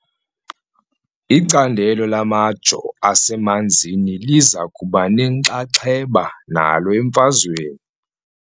Icandelo lamajoo asemanzini liza kuba nenxaxheba nalo emfazweni .